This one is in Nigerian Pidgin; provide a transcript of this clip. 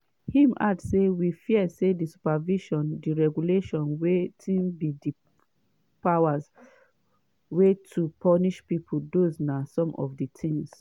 im add say “we fear say di supervision di regulation wetin be di powers wey to punish pipo those na some of di tins